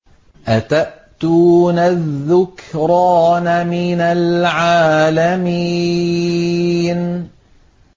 أَتَأْتُونَ الذُّكْرَانَ مِنَ الْعَالَمِينَ